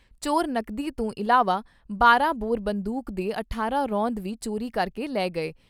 ਚੋਰ ਨਕਦੀ ਤੋਂ ਇਲਾਵਾ ਬਾਰਾਂ ਬੋਰ ਬੰਦੂਕ ਦੇ ਅਠਾਰਾਂ ਰੌਂਦ ਵੀ ਚੋਰੀ ਕਰ ਕੇ ਲੈ ਗਏ।